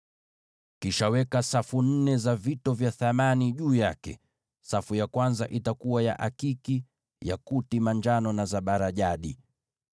Kisha weka safu nne za vito vya thamani juu yake. Safu ya kwanza itakuwa na akiki, yakuti manjano na zabarajadi;